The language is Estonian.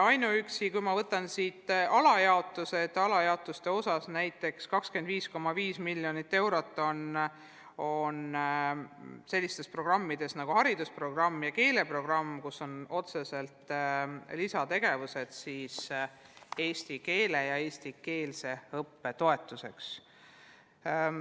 Alajaotuste osas on näiteks 25,5 miljonit eurot sellistele programmidele nagu haridusprogramm ja keeleprogramm, kus on ka lisategevused eesti keele õppe ja eestikeelse õppe toetuseks.